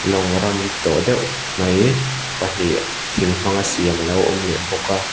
lawng ram tawh deuh mai pahnih thing hmanga siam a lo awm leh bawk a.